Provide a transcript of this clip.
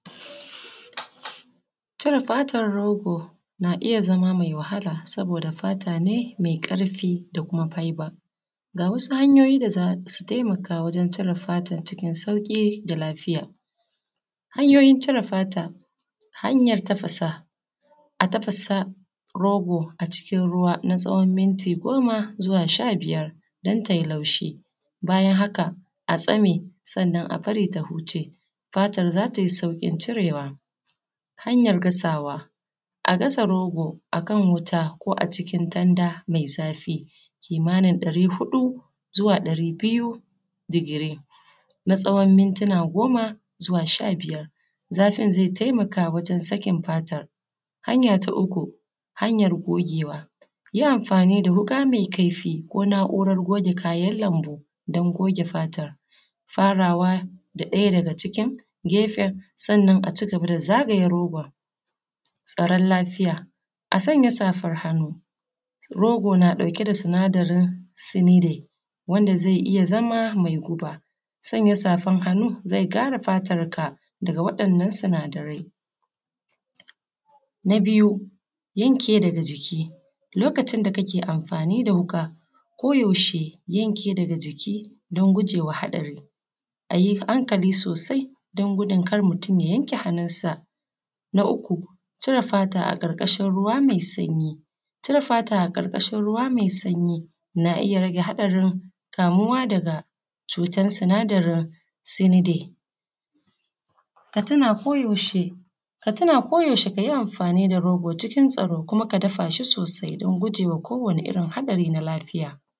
Cire fatar rogo na iya zama mai wahala saboda fata ne mai ƙarfi da kuma faiba. Ga wasu hanyoyin da za su taimaka wajan cire fatan cikin sauƙi da kuma lafiya. Hanyoyin cire fata. Hanyan tafasa rogo a cikin ruwa na tsawan minti goma zuwa sha biyar don tai laushi bayan haka, a tsane sannan a bari ta huce fatan za tai sauƙin cirewa. Hanyar gasawa. A gasa rogo a kan wuta ko a cikin tanda mai zurfi kimanin ɗari huɗu zuwa ɗari biyu digiri, na tsawon mitina goma ko sha biyar. Zafin zai taimaka wurin sakin fatar. Hanya ta uku hanyar gogewa. Yin amfani da wuƙa mai kaifi ko na’urar goge kayan lambu don goge fatar. Farawa da ɗaya daga cikin gefen, sannan a cigaba da zagaya rogon. Tsaron lafiya a sanya safan hannu. Rogo na ɗauke da sinadarin sinide wanda zai iya zama mai guba. Sanya safan hannu zai kare fatar ka daga waɗannan sinadarai. Na biyu yanke daga jiki. Lokacin da kake amfani da wuka ko yaushe yanke daga jiki don gujewa haɗari. A yi hankali sosai don gudun kar mutun ya yanke hannunsa. Na uku cire fata a ƙarƙashin ruwa mai sanyi. Cire fata a ƙarƙashin ruwa mai sanyi na iya rage haɗarin kamuwa daga cutar sinadarin sanide. Ka tuna ko yaushe ka tuna ko yaushe ka yi amfani da rogo cikin tsaro, kuma ka dafa shi sosai don gujewa hadari na lafiya.